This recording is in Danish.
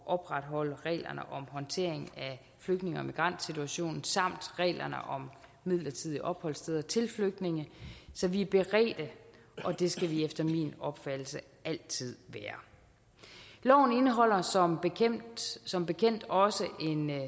opretholde reglerne om håndtering af flygtninge og migrantsituationen samt reglerne om midlertidige opholdssteder til flygtninge så vi er beredte det skal vi efter min opfattelse altid være loven indeholder som bekendt som bekendt også en